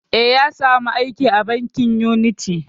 Eh, ya sa mu aiki a bankin uniti